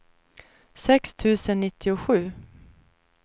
sex tusen nittiosju